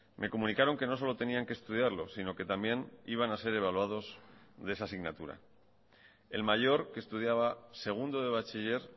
me comunicaron que no solo tenían que estudiarlo sino que también iban a ser evaluados de esa asignatura el mayor que estudiaba segundo de bachiller